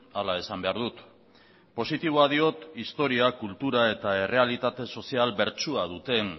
hala esan behar dut positiboa diot historia kultura eta errealitate sozial bertsua duten